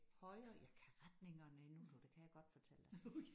Højre jeg kan retningerne endnu du det kan jeg godt fortælle dig